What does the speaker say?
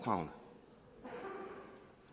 får